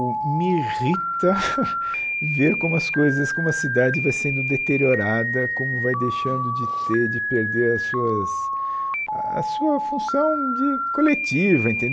o me irrita ver como as coisas como a cidade vai sendo deteriorada, como vai deixando de ter de perder as suas a sua função de coletiva